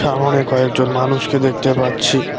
সামোনে কয়েকজন মানুষকে দেখতে পাচ্ছি।